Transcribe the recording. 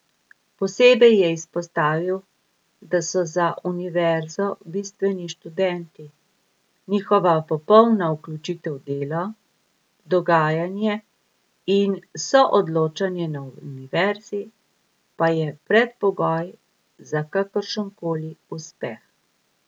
Posebej je izpostavil, da so za univerzo bistveni študenti, njihova popolna vključitev v delo, dogajanje in soodločanje na univerzi pa je predpogoj za kakršen koli uspeh.